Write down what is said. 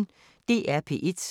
DR P1